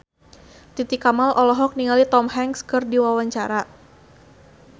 Titi Kamal olohok ningali Tom Hanks keur diwawancara